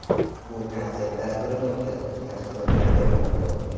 Bu konsert dasturini o‘tkazuvchi tashkilotchilarga bog‘liq.